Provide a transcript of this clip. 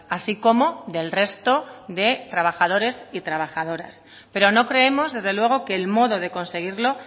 así como del resto de trabajadores y trabajadoras pero no creemos desde luego que el modo de conseguirlo